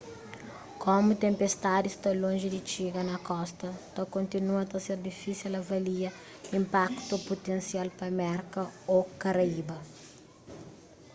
komu tenpestadi sta lonji di txiga na kosta ta kontinua ta ser difísil avalia inpaktu putensial pa merka ô karaiba